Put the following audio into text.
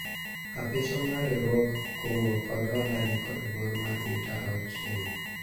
Apiswa mar riwruog kungo kod hola nikod bor mar mita auchiel